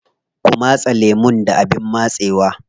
Kwa matse lemun da abin matsewa.